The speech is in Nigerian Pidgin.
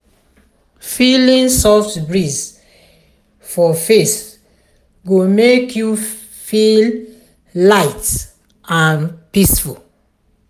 feeling soft breeze for face go make you feel light and peaceful.